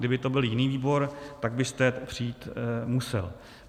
Kdyby to byl jiný výbor, tak byste přijít musel.